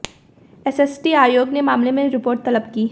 SST आयोग ने मामले में रिपोर्ट तलब की है